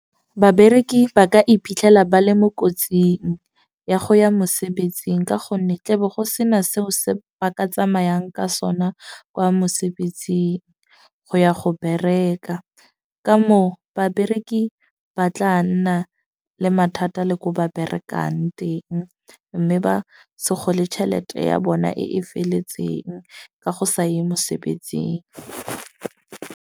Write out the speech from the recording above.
Babereki ba ka iphitlhela ba le mo kotsing ya go ya mosebetsing. Ka gonne tle be go sena seo se ba ka tsamayang ka sona kwa mosebetsing, go ya go bereka. Ka moo babereki ba tla nna le mathata le ko ba berekang teng. Mme ba se gole tšhelete ya bona e e feletseng ka go sa ye mosebetsing.